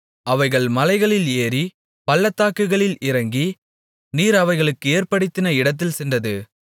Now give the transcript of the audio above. அவைகள் மலைகளில் ஏறி பள்ளத்தாக்குகளில் இறங்கி நீர் அவைகளுக்கு ஏற்படுத்தின இடத்தில் சென்றது